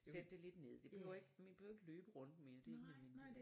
Sætte det lidt ned det behøver ikke vi behøver ikke løbe rundt mere det ikke nødvendigt